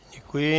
Děkuji.